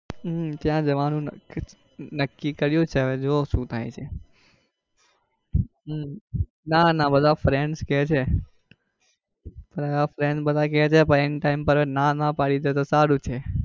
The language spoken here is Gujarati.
હમ ત્યાં જવાનું નક્કી નક્કીકર્યું છે. હવે જોવો શું થાય છે હમ ના ના બધા firends કે છે બધા friends બધા કે છે પણ end time પર ના ના પડી દે તો સારું છે.